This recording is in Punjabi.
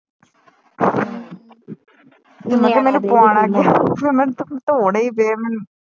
ਫਿਰ ਮੈਨੂੰ ਧੋਣੇ ਈ ਪੈ ਮੈਨੂੰ